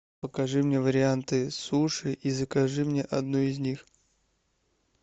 покажи мне варианты суши и закажи мне одну из них